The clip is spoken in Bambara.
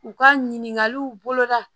U ka ɲininkaliw boloda